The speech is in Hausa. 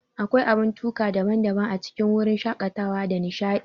Akwai abun tuka daban-daban a cikin wurin shakatawa da nishadi.